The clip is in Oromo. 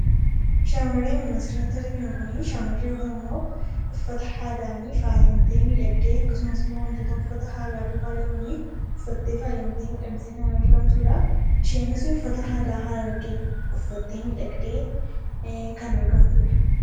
Shamarree nun asirratti arginu kuni shamarree Oromoo uffata aadaan faayamtee miidhagdee akkasumas immoo wantoota uffata aadaa duukaa deeman uffattee faayamtee miidhagdee kan argamtuudha. Isheenis uffata aadaa Harargee uffattee miidhagdee kan argamtuudha.